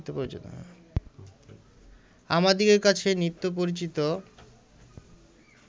আমাদিগের কাছে নিত্য পরিচিত